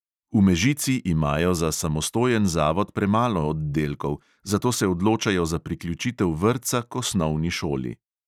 V mežici imajo za samostojen zavod premalo oddelkov, zato se odločajo za priključitev vrtca k osnovni šoli.